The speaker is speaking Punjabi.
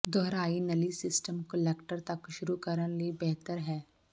ਦੁਹਰਾਈ ਨਲੀ ਸਿਸਟਮ ਕੁਲੈਕਟਰ ਤੱਕ ਸ਼ੁਰੂ ਕਰਨ ਲਈ ਬਿਹਤਰ ਹੈ